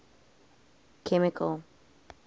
chemical